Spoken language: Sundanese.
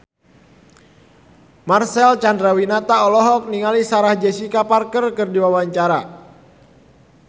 Marcel Chandrawinata olohok ningali Sarah Jessica Parker keur diwawancara